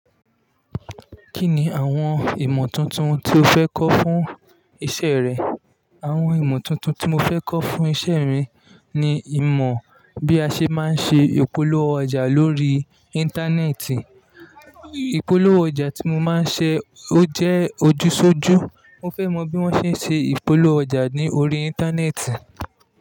Kí ni àwọn ìmọ̀ tuntun tí o fẹ́ kọ́ fún iṣẹ́ rẹ? Àwọn ìmọ̀ tuntun tí mo fẹ́ kọ́ fún iṣẹ́ mi ni ìmọ̀ bí a ṣe máa ń ṣe ìpolówó ọjà lórí Íńtánẹ́ẹ̀tì. Ìpolówó ọjà tí mo máa ń ṣe ó jẹ́ ojúsójú Mo fẹ́ mọ bí wọ́n ṣe ń ṣe ìpolówó ọjà ní orí Íńtánẹ́ẹ̀tì.